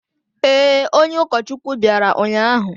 Ee, onye ụkọchukwu bịara ụnyahụ.